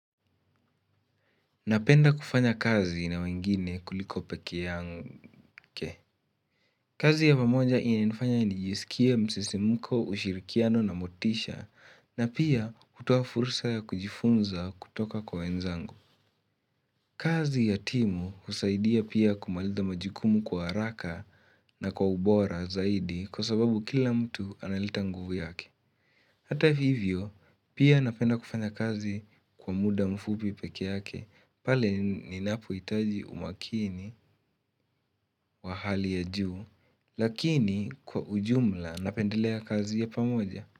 Napenda kufanya kazi na wengine kuliko pekee yangu ke. Kazi ya pamoja inanifanya nijisikie msisimko ushirikiano na motisha na pia hutoa fursa ya kujifunza kutoka kwa wenzangu. Kazi yatimu husaidia pia kumaliza majukumu kwa haraka na kwa ubora zaidi kwa sababu kila mtu analeta nguvu yake. Hata hivyo, pia napenda kufanya kazi kwa muda mfupi pekee yake, pale ninapohitaji umakini wa hali ya juu, lakini kwa ujumla napendelea kazi ya pamoja.